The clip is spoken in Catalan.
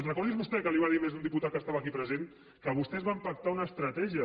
recordi vostè què li va dir més d’un diputat que estava aquí present que vostès van pactar una estratègia